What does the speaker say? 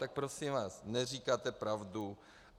Tak prosím vás neříkáte pravdu.